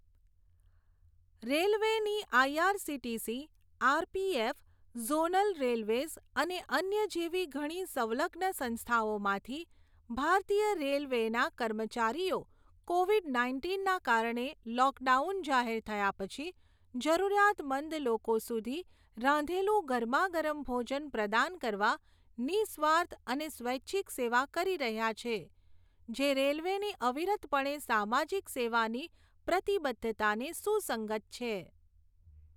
રેલવેની IRCTC, RPF, zonal railways અને અન્ય જેવી ઘણી સંલગ્ન સંસ્થાઓમાંથી ભારતીય રેલવેના કર્મચારીઓ કોવિડ નાઇન્ટીનના કારણે લૉકડાઉન જાહેર થયા પછી જરૂરિયાતમંદ લોકો સુધી રાંધેલું ગરમાગરમ ભોજન પ્રદાન કરવા નિઃસ્વાર્થ અને સ્વૈચ્છિક સેવા કરી રહ્યાં છે, જે રેલવેની અવિરતપણે સામાજિક સેવાની પ્રતિબદ્ધતાને સુસંગત છે.